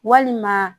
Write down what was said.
Walima